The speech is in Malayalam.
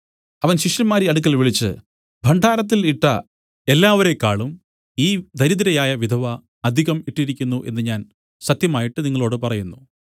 അവൻ ശിഷ്യന്മാരെ അടുക്കൽ വിളിച്ചു ഭണ്ഡാരത്തിൽ ഇട്ട എല്ലാവരേക്കാളും ഈ ദരിദ്രയായ വിധവ അധികം ഇട്ടിരിക്കുന്നു എന്നു ഞാൻ സത്യമായിട്ട് നിങ്ങളോടു പറയുന്നു